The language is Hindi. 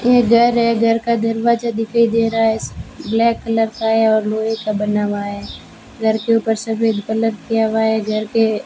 एक घर है घर का दरवाजा दिखाई दे रहा है ब्लैक कलर का है और लोहे का बना हुआ है घर के ऊपर सफेद कलर किया हुआ है घर के --